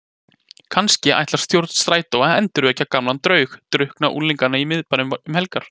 Kannski ætlar stjórn Strætó að endurvekja gamlan draug, drukkna unglinga í miðbænum um helgar?